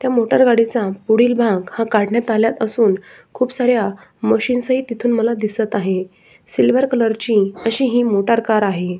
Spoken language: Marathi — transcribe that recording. त्या मोटर गाडीचा पुढील भाग हा काढण्यात आला असून खुपसाऱ्या मशीनही मला दिसत आहेत सिल्वर कलर ची अशी ही मोटर कार आहे.